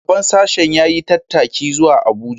Shugaban sashen ya yi tattaki zuwa Abuja